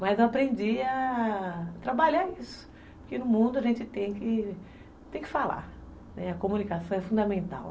Mas eu aprendi a a trabalhar isso, porque no mundo a gente tem que... Tem que falar, né, a comunicação é fundamental.